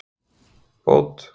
Bót